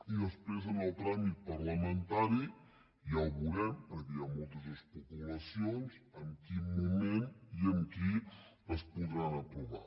i després en el tràmit parlamentari ja veurem perquè hi ha moltes especulacions en quin moment i amb qui es podran aprovar